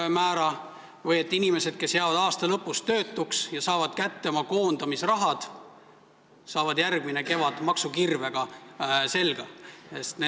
Või kas see on õiglane, et inimestele, kes jäävad aasta lõpus töötuks ja saavad kätte oma koondamisraha, lüüakse järgmine kevad maksukirvega selga?